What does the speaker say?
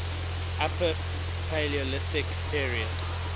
upper paleolithic period